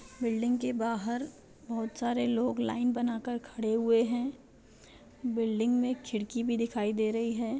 Building के बाहर बहुत सारे लोग लाइन बना कर खड़े हुए है बिल्डिंग में खिड़की भी दिखाई दे रही है।